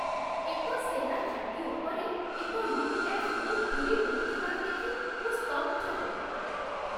ଏକ ସେନା ଘାଟି ଉପରେ ଏକ ୟୁ.ଏଫ୍.ଓ. ଘୁରି ବୁଲୁଥିବାର ଦେଖି ମୁଁ ସ୍ତବ୍ଧ।